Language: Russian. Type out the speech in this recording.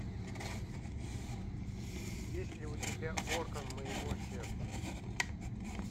есть ли у тебя орган моего сердца